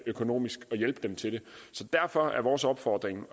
økonomisk så derfor er vores opfordring